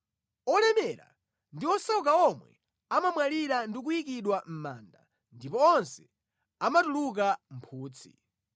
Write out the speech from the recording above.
Olemera ndi osauka omwe amamwalira ndi kuyikidwa mʼmanda ndipo onse amatuluka mphutsi.